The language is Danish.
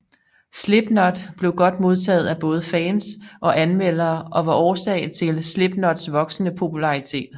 Slipknot blev godt modtaget af både fans og anmeldere og var årsag til Slipknots voksende popularitet